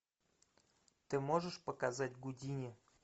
ты можешь показать гудини